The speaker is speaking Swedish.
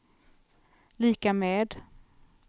lika med